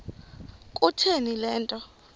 kutheni le nto